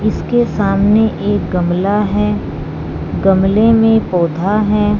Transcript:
इसके सामने एक गमला है गमले में पौधा है।